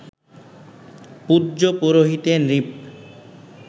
পূজ্য পুরোহিতে নৃপ